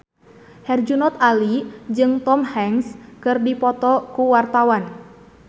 Herjunot Ali jeung Tom Hanks keur dipoto ku wartawan